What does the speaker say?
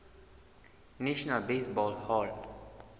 national baseball hall